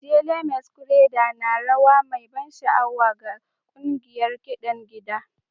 Ijele masquerade na rawa mai ban sha'awa ga ƙungiyar kiɗan gida